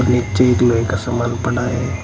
और नीचे एक लोहे का सामान पड़ा है।